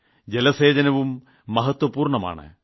ജലസേചനവും മഹത്വപൂർണമാണ്